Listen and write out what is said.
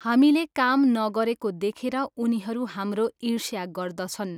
हामीले काम नगरेको देखेर उनीहरू हाम्रो इर्ष्या गर्दछन्।